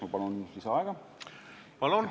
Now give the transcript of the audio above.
Ma palun lisaaega!